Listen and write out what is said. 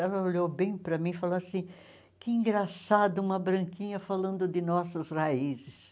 Ela olhou bem para mim e falou assim, que engraçada uma branquinha falando de nossas raízes.